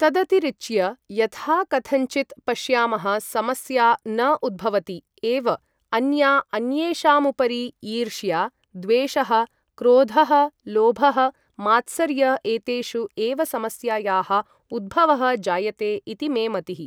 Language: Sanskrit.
तदतिरिच्य यथाकथञ्चित् पश्यामः समस्या न उद्भवति एव अन्या अन्येषामुपरि ईर्ष्या द्वेषः, क्रोधः, लोभः, मात्सर्य एतेषु एव समस्यायाः उद्भवः जायते इति मे मतिः ।